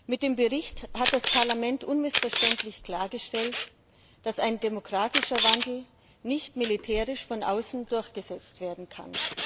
Mit diesem Bericht hat das Parlament unmissverständlich klargestellt, dass ein demokratischer Wandel nicht militärisch von außen durchgesetzt werden kann.